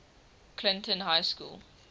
clinton high school